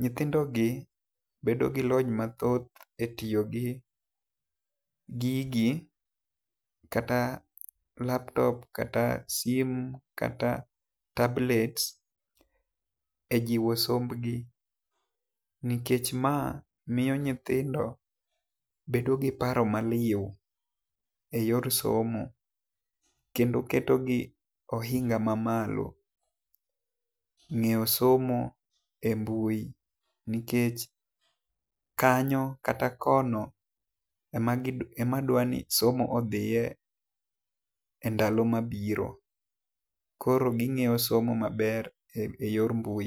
Nyithindo gi bedo gi lony maduong e tiyo gi gigi kata e laptop, kata simo ,kata tablet, e jiwo somb gi nikech ma miyi nyithindo bedo gi paro ma liu e yo somo kendo keto gi e oinga ma malo ng'eyo somo e mbui nikech kanyo kata kono e ma dwani somo odhiye e ndalo ma biro. Koro gi ng'eyo somo ma ber e yor mbui.